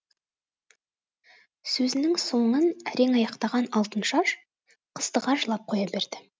сөзінің соңын әрең аяқтаған алтыншаш қыстыға жылап қоя берді